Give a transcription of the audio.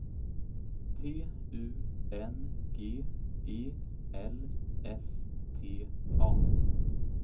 T U N G E L S T A